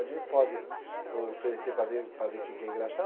Pode ir, pode oferecer para ver, para ver quem quer engraxar?